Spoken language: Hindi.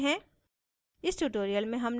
इसको सारांशित करते हैं: